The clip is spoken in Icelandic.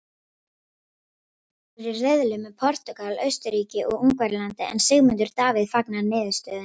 Ísland verður í riðli með Portúgal, Austurríki og Ungverjalandi en Sigmundur Davíð fagnar niðurstöðunni.